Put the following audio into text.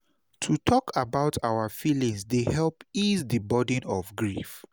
To talk about our feelings dey help ease di burden of grief.